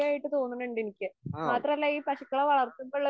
ആ.